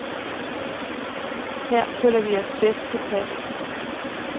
Her føler vi os bedst tilpas.